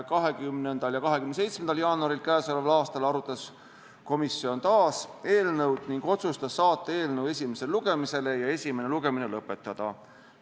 20. ja 27. jaanuaril k.a arutas komisjon taas eelnõu ning otsustas saata eelnõu esimesele lugemisele ja esimese lugemise lõpetada.